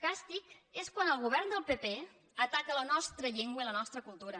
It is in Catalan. càstig és quan el govern del pp ataca la nostra llengua i la nostra cultura